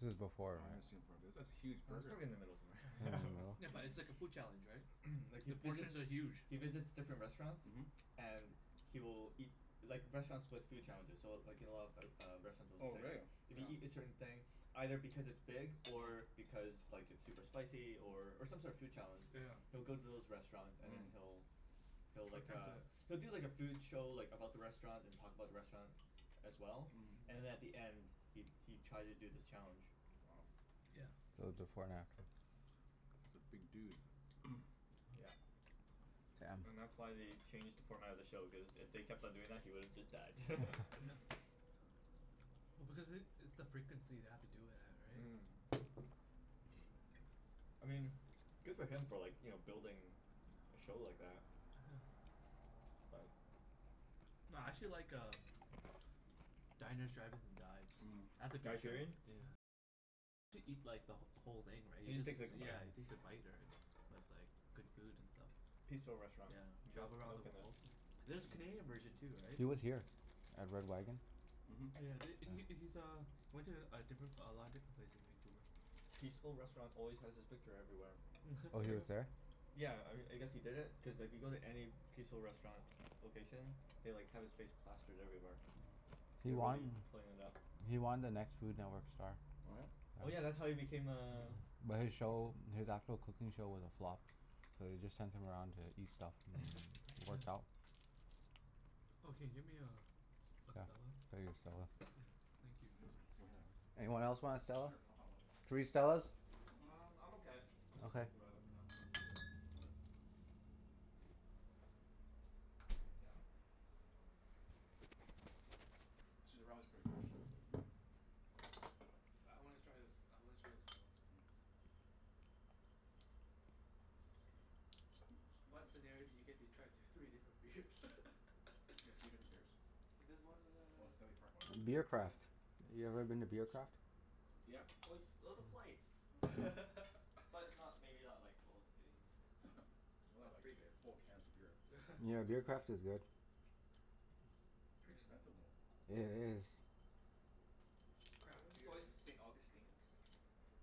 This is Oh, before, I haven't seen it right? for a b- that's a Yeah, huge that's burger. probably in the middle somewhere. In the middle. Yeah, No. but it's like a food challenge, right? Like he The visits, portions are huge. he visits different restaurants. Mhm. And he will eat, like restaurants with food challenges so w- like you know of o- a lot of restaurants Oh, will say like really? if you Yeah. eat a certain thing, either because it's big or because like it's super Mhm. spicy or or some sort of food challenge he'll Yeah. go to those restaurants and then Mhm. he'll he'll like Attempt uh, it. he'll do like a food show like about the Mm. restaurant, Mm. and talk about the restaurant as well. Mhm. And at the end he he tries to do this challenge. Wow. Yeah. So, before and after. That's a big dude. Yeah. Damn. And that's why they changed the format of the show, cuz if they kept on doing that he would have just died. Oh because it, it's the frequency they have to do it at, right? Mm. I mean good for him for like, you know, building a show like that. But No, I actually like um Diners, drive-ins, and Dives. Mm. That's a Guy good show. Sheerian? Yeah, he takes a bite or, right? But it's like good food and stuff. Peaceful Restaurant. Yeah. Milk Travel around milk the in it. world Yeah. There's a Canadian version too, right? He was here at Red Wagon. Oh Mhm. yeah, th- he Yeah. he's uh he went to a different a lot of different places in Vancouver. Peaceful Restaurant always has his picture everywhere. Oh, It's he like, was there? yeah, I I guess he did it cuz if you go to any Peaceful Restaurant location they like have his face plastered everywhere. Mhm. He They're won really playing it up. he won The Next Food Network Star. What? Oh yeah, that's Yeah. how he became a But his show, his actual cooking show was a flop. So they just sent him around to eat stuff and it worked Yeah. out. Yeah, Oh, I'll can you get get me a a Stella? you a Stella. Yeah, thank you. Anyone else want a S- Stella? sure, I'll have one. Three Stellas? Mhm. Um, I'm okay. I'm gonna stick Okay. with the radler for now. Yeah. Actually, the radler's pretty good actually. I wanna try this, I wanna try the Stella. Yeah. Mm. Ooh, What excuse me. scenario do you get to try d- You three different beers? get three different beers? There's one Oh, the uh Stanley Park one? Beer Mhm. Yeah, yeah. Craft. You ever been to Beer Craft? Yeah. Oh it's oh the Mm. flights. Mm. But not, maybe not like full three here. Mm. Not Not like, free beer. full cans of beer. Yeah, Beer Craft is good. Pretty expensive, though. It is. It's craft It's beer, right? always the St. Augustine's.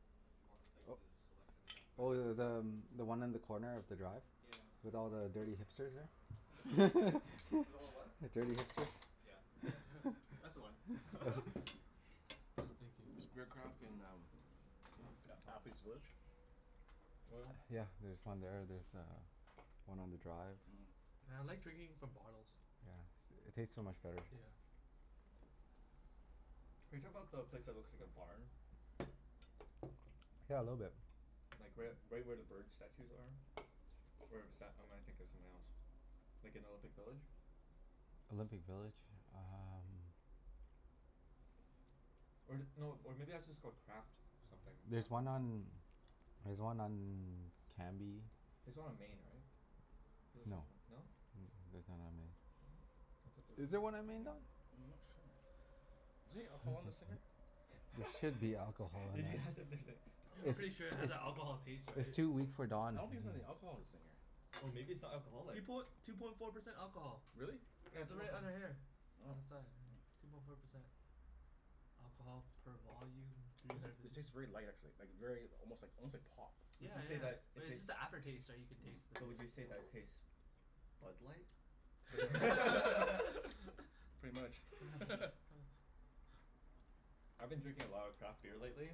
Mm if you want like Oop. the selection. They have quite Oh, a th- selection the too. um one on the corner of the Drive? Yeah. With all the dirty hipsters, there? With all the what? The dirty hipsters. Yeah. That's the one. I thank you. Is Beer Craft in um A- Athlete's Village? Oil? Yeah, there's one there. There's uh one on the Drive. Mhm. Yeah, I like drinking from bottles. Yeah, s- it tastes so much better. Yeah. Are you talking 'bout the place that looks like a barn? Yeah, a little bit. Like right u- right where the bird statues are? Where bes- or am I thinking of something else? Like in Olympic Village? Olympic Village? Um Or th- no, or maybe that's just called Craft something. There's Craft house one or on, there's one on Cambie. There's one on Main, right? Feel like there's No. one, no? N- I'm there's none on not Main. Oh, I thought there sure. was Is a Is there there one Craft on on Main, Don? Main. any alcohol in this thing here? There should be alcohol in Did you ask if that. there's any I'm It's pretty sure it has that alcohol taste, it's right? it's too weak for I Don. don't think there's any alcohol in this thing here. Oh, maybe it's not Two alcoholic? poin- two point four percent alcohol. Really? Yeah, two They're point right four. under here. Oh. Oh. On the side, yeah. Two point four percent. Alcohol per volume, three Those are, hundred it fifty tastes very light actually. Like very almost like almost like pop. Would Yeah, you say that yeah. But it it's tastes just the after taste, right, you can taste Mm. the but beer. would you say that tastes Bud Light? Yeah. Pretty much. I've been drinking a lot of craft beer lately.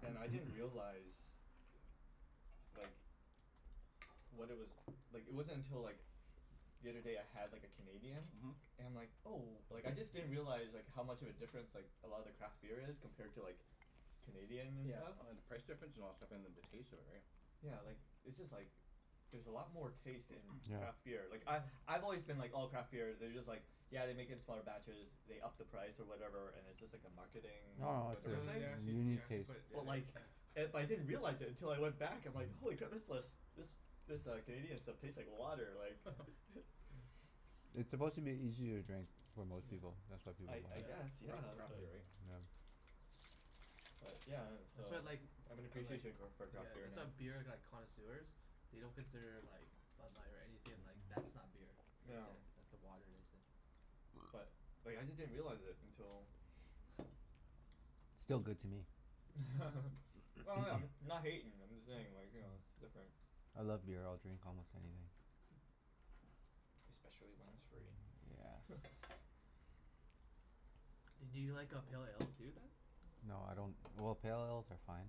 And I didn't realize like what it was, like it wasn't until like the other day I had like a Canadian Mhm. and I'm like, oh, like I just didn't realize like how much of a difference like a lot of the craft beer is compared to like Canadian and Yeah, stuff. oh and the price difference and all that stuff, and then the taste of it, right? Yeah, like it's just like there's a lot more taste in Yeah. craft beer. Like I Mhm. I've always been like oh, craft beer, they're just like yeah they make it in smaller batches, they up the price or whatever, and it's just like a Mm. marketing No no, it's No whatever th- thing. they a actually they unique actually taste. put it d- But d- like yeah. it, but I didn't realize it until I went back I'm like, Mhm. holy crap, this lis- this this uh Canadian stuff tastes like water, like Yeah, yeah. It's Cra- supposed to be easier to drink for most Yeah. people, that's why people I I mo- guess, Yeah. yeah, craft but beer, right? Yeah. but yeah and That's so why I like I have an I like appreciation go- for Yeah, craft beer that's why now. beer like connoisseurs they don't consider like Bud Light or anything, like that's not beer. That's Yeah. it, that's the water they say. But like I just didn't realize it until Still good to me. Well no, I'm not hatin', I'm just saying like, you know, it's different. I love beer. I'll drink almost anything. Especially when it's free. Yes. Do you like uh pale ales too, then? No, I don't, well, pale ales are fine.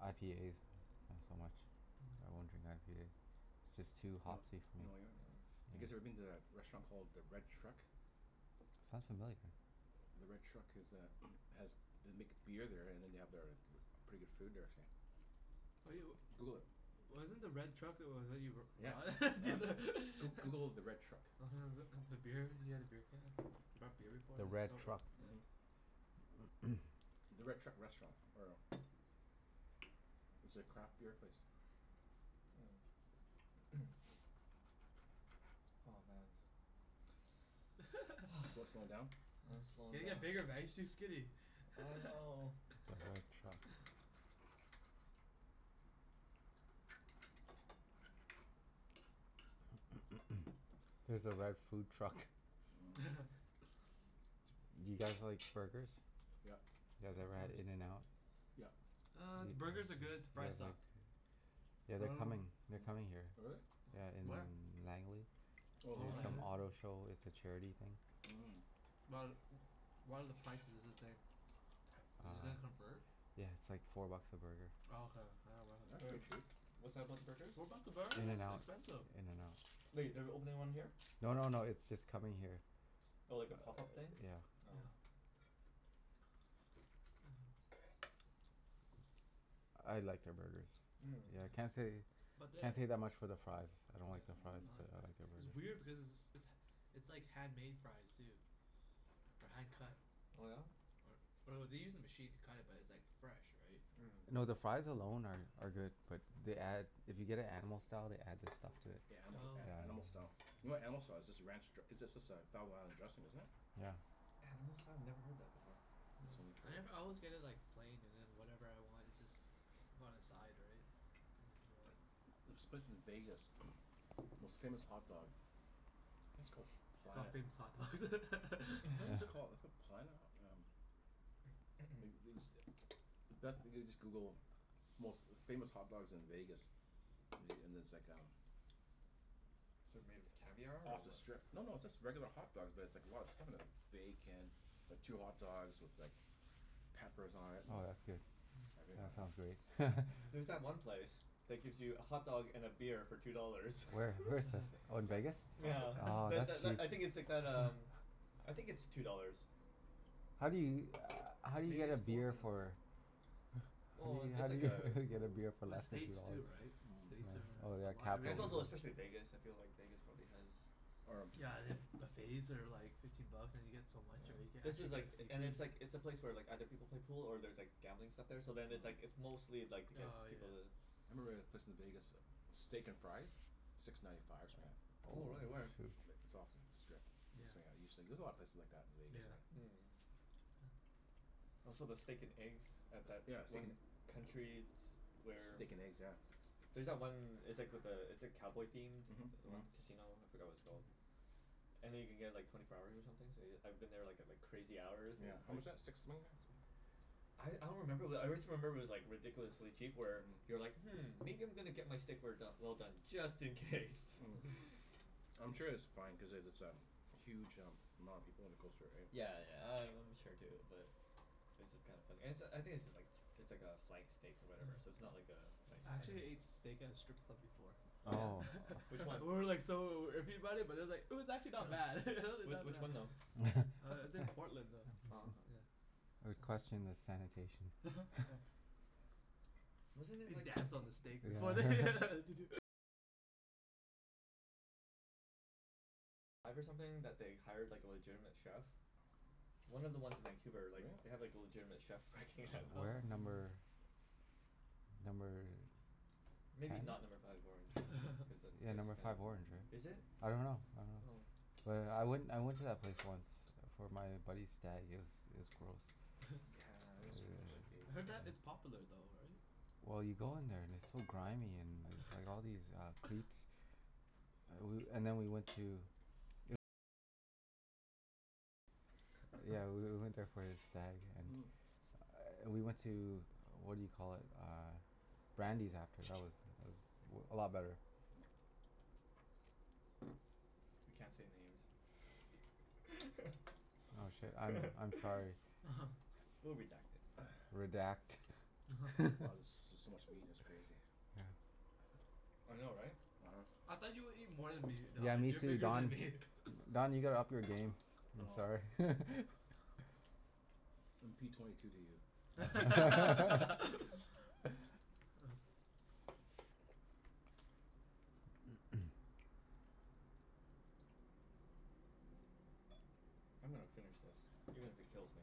IPAs not so much. I Mm. won't drink IPA. Just Yeah. You too kn- hopsy for me. w- Mm. you guys ever Yeah. been to a restaurant called the Red Truck? Sounds familiar. The Red Truck is uh has, they make beer there and then they have their pretty good food they were saying. What do yo- Google it. Wasn't the Red Truck Yeah. Yeah. Goo- Google the Red Truck. Mhm. beer, you had a beer can? You brought beer before The and it was Red no- Truck? yeah. The Red Truck Restaurant or It's a craft beer place. Mm. Oh man. Slo- slowing down? I'm You slowin' gotta down. get bigger man. You're too skinny. I know. The Red Truck. Here's the Red Food Truck. Mm. Do you guys like burgers? Yep. You Yeah, guys of ever had course. In and Out? Yep. Uh, the burgers are good. The You fries guys like suck. Oh Yeah, But I they're dunno coming, they're coming here. really? Yeah, in Where? Langley. To Oh, Oh, some Langley. auto Langley? show. It's a charity thing. But, what are the prices is this day? Uh, Is it gonna Mm. convert? yeah, it's like four bucks a burger. Oh, okay. Yeah, I wasn't. That's Wait, pretty cheap. what's that about the burgers? What about the burgers? In and That's Out. expensive. In and Out. Wait, they're opening one here? No no no, it's just coming here. Oh, like a pop-up thing? Yeah. Oh. Yeah. I liked their burgers. Yeah, Yeah. can't say But the can't say that much for their fries. I don't Yeah, like their Mhm. fries, I don't like but the I like Mm. fries. their It's burgers. weird because it's it's it's it's like handmade fries, too. Or hand cut. Oh yeah? Or or they use a machine to cut it but it's like fresh, right? Mm. No, the fries alone are are good but they add, if you get it Animal Style they add this stuff to it. Yeah, anima- Oh. a- animal Yeah. style. You know what animal style is? It's just a ranch dr- it's just a thousand island dressing, isn't it? Yeah. Animal style? Never heard that before. Oh. I never always get it like plain and then whatever I want is just on the side, right? There's this place in Vegas most famous hot dogs. I think it's called It's called Planet Famous Hot Dogs. What was it called? It's called Planet Ho- um like these, best, you just Google most famous hot dogs in Vegas. Me- and there's like um It's like made of caviar, or Off the what? strip. No, no, it's just regular hot dogs but it's like a lot of stuff on them. Bacon. Two hot dogs with like peppers on it and Oh, that's good. Mm. everything Yeah, on that sounds it. great. There's that Yeah. Mm. one place that gives you a hotdog and a beer for two dollars. Where? Where is this? Oh, in Vegas? Nyeah. Oh, Tha- tha- that's l- I sweet. think it's like that um I think it's two dollars. How do you, how do you Maybe get a it's four now. beer for Well i- how it's do like you, how a do you get a goo- beer for Well, less than two States too, dollars? right? States Mm. Oh, oh are a yeah, lot Right. And it's everything capital also especially Vegas, I feel like Vegas probably has Or Yeah, and then buffets are like fifteen bucks and you get so much, Yeah. right? You can This actually is like get and seafood. it's like, it's a place where like other people play pool or there's like gambling stuff there so then it's like Mm. it's mostly like to get Oh, yeah. people to I remember a place in Vegas, Steak and Fries? Six ninety five or something like that. Oh Oh, really? Where? shoot. Like, it's off of the strip. Yeah. There's a lot of places like that in Vegas, right? Yeah. Mm. Oh, so the steak and eggs at that Yeah, steak and one country s- where Steak and eggs, yeah. There's that one, it's like with the, it's like cowboy themed? Mhm. The Mhm. one casino? I forgot what it's called. Mm. And then you can get like twenty four hours or something so y- I've been there like at like crazy hours and Yeah, it's just how like much that? Six swing that? I I don't remember, but I wrist remember it was like ridiculously cheap where Mhm. you're like "Hmm, maybe I'm gonna get my steak rare do- well done just in case." Mm. I'm sure it's fine cuz it it's a huge um amount of people in the coastal area. Yeah, yeah, I I'm sure too but It's just kinda funny. And it's a, I think it's just like it's like a flank steak or whatever, so it's Mm. not like a nice I cut or actually anything. ate steak at a strip club before. Oh yeah? Oh. Which one? And we were like so iffy about it, but it's like it was actually not bad. W- Not which one bad. though? Uh it's in That's Portland though. Oh, huh. It's, yeah. I would Yeah. question the sanitation. Yeah. Wasn't it They like dance on the steak before they Yeah. One of the ones in Vancouver, like, they have Really? like a legitimate chef working at Oh. No. Where? Number number Maybe not Number ten? Five Orange cuz that Yeah, place is Number kinda, Five Orange, right? is it? I dunno. I dunno. Oh. But I went I went to that place once It for my buddy's stag. It was it was gross. Yeah, it would was gross. I heard be. that it's popular though, right? Well you go in there and it's so grimy, and there's like all these uh boobs. Ah woo- and then we went to Yeah, we w- went there for his stag and we went to, what do you call it? Uh Brandi's after. That was that was a lot better. We can't say names. Oh shit, I'm I'm sorry. We'll redact it. Redact. Wow, this is just so much meat it's crazy. Yeah. I know, right? uh-huh. I thought you would eat more than me, Yeah, Don. me You're too bigger than Don. me. Don, you gotta up your game. I'm sorry. Oh. I'm p twenty two to you. Oh. I'm gonna finish this even if it kills me.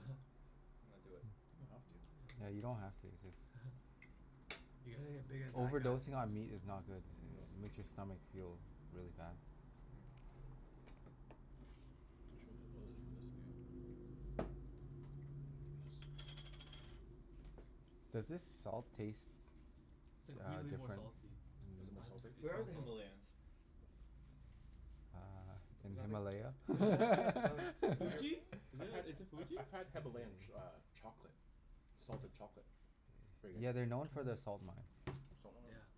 I'm gonna do it. You don't have to. Yeah, you don't have to. Just You gotta get big as that guy. Overdosing on meat is not good. I- No. it makes your stomach feel really bad. Mm. Does this salt taste It's like uh really more different? salty. Is it more I don- salty? it's Where are more the salty. Himalayans? Uh, Is in that like Himalaya? Is that like I had, Tibet? Fuji? Is I've it had is it I've Fuji? I've had Himalayan ch- uh chocolate. Salted chocolate. Pretty Yeah, good. they're known Oh. for their salt Salt mines. mm. Yeah.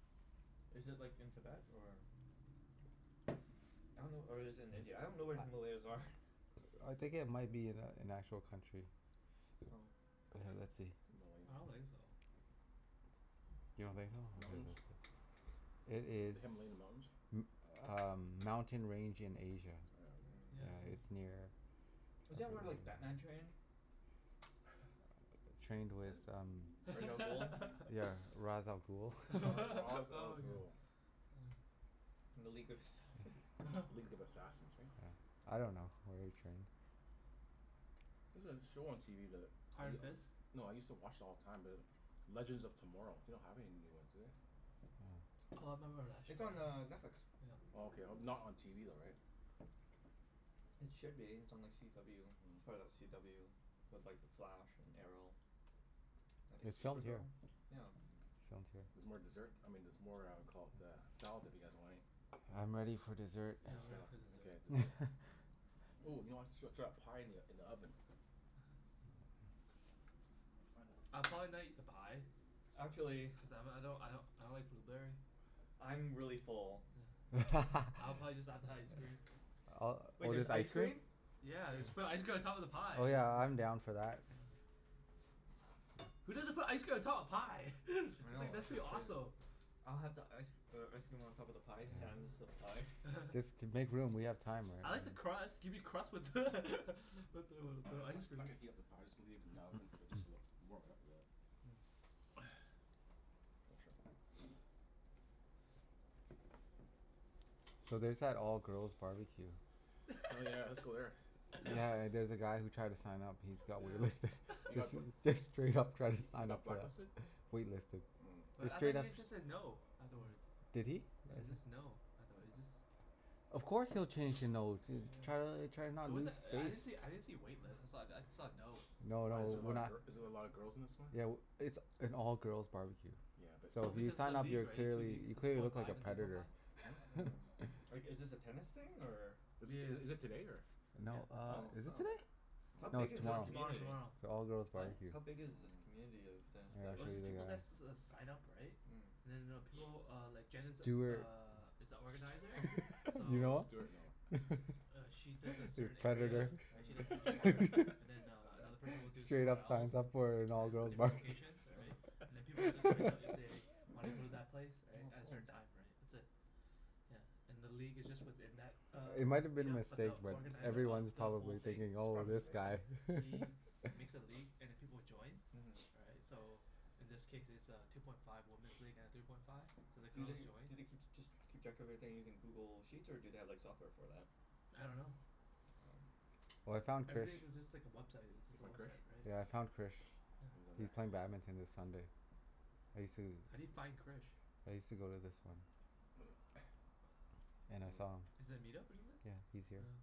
Is it like in Tibet, or I dunno or is it in India? I don't know where the Himalayas are. I think it might be an a- an actual country. Oh. Okay, let's see. I don't Himalayan. think so. You don't think so? M- Okay, mountains? let's see. It is The Himalayan Mountains? m- uh mountain range in Asia. Yeah, Yeah, yeah. it's near Mm. Isn't that where like Batman trained? Trained with um I- Ra's al Ghul. Yeah, Ra's al Ghul? Yeah. Ra- Ra's al Oh my god. Ghul. Ah. And the League of Assassins. League of Assassins, right? Yeah. I dunno where he trained. There's a show on TV that y- Iron Fist? no, I used to watch it all the time be like Legends of Tomorrow. They don't have any new ones, do they? Mm. Oh, I remember that It's on uh show. Netflix. Yeah. Oh, okay. Not on TV though, right? Mm. It should be. It's on like CW. It's part of that CW with like The Flash, and Arrow. I think It's it's filmed here. Supergirl? Yeah. It's filmed here. Mhm. There's more dessert, I mean there's more uh caul- uh, salad if you guys want any? I'm ready for dessert. Yeah, I I'm saw. ready for Okay, dessert. dessert. Ooh, you know I srut srut that pie in the in the oven. uh-oh. Find that I'll pie. probably not eat the pie. Huh? Actually Cuz I m- I don't I don't I don't like blueberry. I'm really full. Yeah. I'll probably just have the ice cream. Uh, Wait, or there's just ice ice cream? cream? Yeah. Yes Just put ice cream on top of the pie Oh is yeah, I'm down for that. Yeah, yeah. Who doesn't put ice cream on top of pie? I It's know, like that's that's pretty just crazy. awesome. I'll have the ice uh ice cream on top of the pie Yeah. sans Yeah. the pie. Just to make room. We have time, I right? like Mm. the crust. Gimme crust with with the with the I'm not ice cream. not gonna heat up the pie. Just leave it in the oven for just a little warm it up a bit. Mm. Oh yeah. Make sure So there's that all girls barbecue. Oh yeah, let's go there. Yeah, there's a guy who tried to sign up he's got wait listed. Yeah. He Just got bl- just straight up tried to he sign up got for blacklisted? that. Wait listed. Mm. Wait, Just I thought straight up he just said no afterwards? Did he? Yeah, it's just no, I thought it just Of course he'll change to no, to try to l- try Yeah. not It to lose wasn't, I didn't see, face. I didn't see a wait list. I saw, I saw a no. No, no, Why is That's there a what we're lot I of not gir- heard. is there a lot of girls in this one? Yeah, w- it's an all girls barbecue. Yeah, but So Well, if you because of the sign up league, you're right? The two clearly, leagues. you The two clearly point look like a five and three point five. predator. Huh? Mm. Like, is this a tennis thing, or Is this is is it today, or No, Yeah. uh Oh, is it oh. today? How I don't No, big it's is this No, know. tomorrow. Me tomorrow community? tomorrow. It's an all girls What? barbecue. How big is this Mm. community of tennis Here, I'll players? Oh, show it's you just the people that guy. s- s- s- sign up, right? Mm. And then I know people uh, like Jen is Stewart Stew- uh, is a organizer. Stu- Do you So know Stuart? No. him? uh she does a A certain area. predator. Right? She does Mhm. Central Park. And then uh another person will do Straight somewhere up else. signs up for an And all it's girls different barbecue. locations, all right? uh-huh. And then people will just sign up if they wanna go to that place, right? Oh, As cool. her dime, right. That's it. Yeah. And the league is just within that uh, It might have been a meet-up but mistake, the but Yeah. organizer of everyone's It's the probably probably whole thing thinking, "Oh, a this Mhm. mistake. guy." right? He makes a league and then people will join Mhm. right? So in this case it's a two point five woman's league and a three point five. So the Do girls they, joy do they keep, just keep track of everything using Google Sheets, or do they have like software for that? I dunno. Oh. Oh, I found Krish. Everything's is just like a website. It's You just a find Krish? website, Yeah, I right? found Krish. He's Yeah. on He's there? playing badminton this Sunday. I sue How do you find Krish? I used to go to this one. And I saw him. Yeah. Is that a meet-up or something? Yeah, he's here. Oh.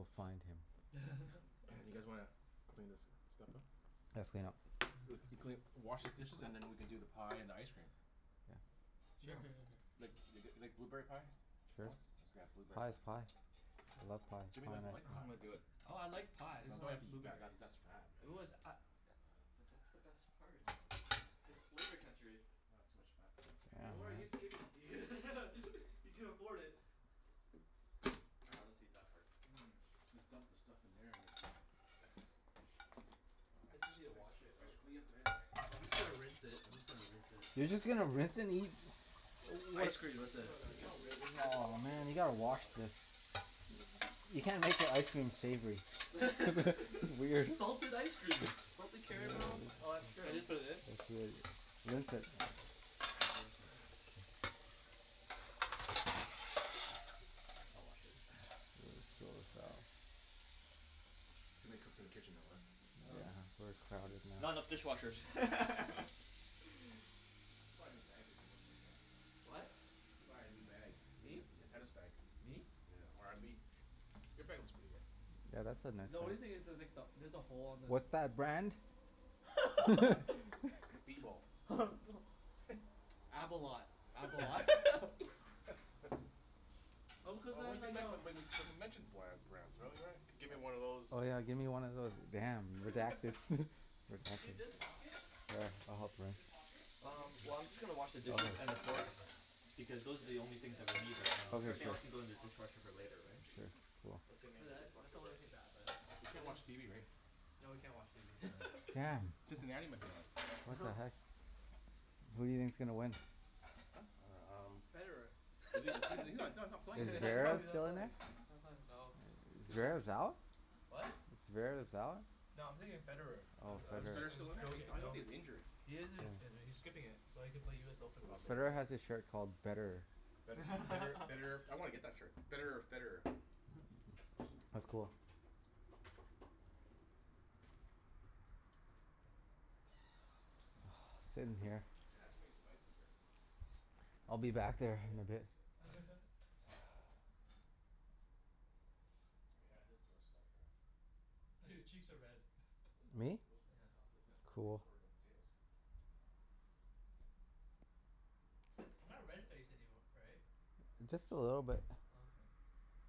find him. You guys wanna clean this stuff up? Let's clean up. If you clean, wash these dishes and then we can do the pie and ice cream. Yeah. Yeah. Sure sure sure sure. Like th- Yeah. g- like blueberry pie? Sure. It's got a blueberry Pie is pie. pie. I love pie. Jimmy Pie and doesn't like ice pie. I'm gonna cream. do it. Oh, I like pie. I No, just you don't don't have to like eat that. That blueberries. that's fat, It man. was a- i- But that's the best part. No, no that's It's real flavor gross. country. Aw, too much fat for me. Yeah, Don't worry, he's man. skinny. He can afford it. Ah I'll just eat that part. Mmm. Just dump the stuff in there and is Wow s- It's easy to wash thanks it thanks out. for cleaning up guys. Sorry. Oh, I'm just gonna rinse it. I'm just gonna rinse it. You're just gonna rinse and eat Ice cream with No it. no no, you don't ri- rinse it. You have to Oh wash it with man, you gotta soap and wash water. this. You can't make your ice cream savory. That's weird. Salted ice cream! Salted Salted caramel. ice No. Oh, that's cream. true. Can I just put it in? Let's do it. Rinse it. Can't rinse it. I'll wash it. Too many cooks in the kitchen though, uh? Yeah, uh-huh. we're crowded now. Not enough dishwashers. I should buy a new bag here Jimmy. Whaddya think? What? I should buy a new bag. Me t- Me? te- tennis bag. Me? Yeah, or abi- your bag looks pretty good. Yeah, that's a nice The only one. thing is there's like the, there's a hole on this What's that brand? B bowl. Abolat. Abolat. Oh, Oh cuz what then we they m- go but we we c- we mentioned bland brands really, right? Gimme one of those Oh yeah, give me one of those damn, redacted Do you see redacted. this pocket? Sure, I'll help rinse. This pocket? Mhm. Um, well I'm just gonna wash the dishes and the Has a forks rip now. because It's those are the ripped now? only things Yeah, that so we need this right whole now. Okay, thing is Everything else one can go sure. in big the pocket now, dishwasher for Mm. instead later, of right? just two. Sure. Cool. Assuming But the that that's dishwasher the only works. thing bad about it. We It can't didn't watch TV, right? No, we can't watch TV. Oh, damn. Damn. Cincinnati might be on. What the heck? Who do you think's gonna win? Huh? I dunno, um Federer. Is he is he he's not he's not playing, Is is he? I know Zverev he's not still in playing. there? I know. Stat Zverev's out? What? Zverev's out? No, I'm thinking of Federer. I'm Oh, I'm Is s- Federer Federer. I'm still in just there? He's, joking, I you thought know? he's injured? He is Yeah. in- injured. He's skipping it. So Oh, that he can play okay. US Open probably, Federer right? has a shirt called betterer. Bet- better betterer I wanna get that shirt. Betterer or Federer. That's cool. Sit in here. Jen has so many spices here. I'll be back there Oh in yeah? a bit. She has a lot of spices. I could add this to our spike rack. Oh, your cheeks are red. What is that? Me? Rosemary. Yeah. That's the, Oh. that's the thing Cool. for the potatoes. Oh. Jen doesn't I'm not have red-face rosemary? anym- right? Yeah. How could Just she a have not little ro- bit. not Oh, rosemary? okay.